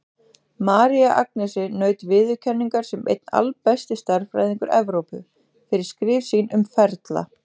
María Agnesi naut viðurkenningar sem einn albesti stærðfræðingur Evrópu, fyrir skrif sín um ferla.